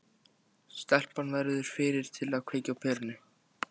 Stelpan verður fyrri til að kveikja á perunni.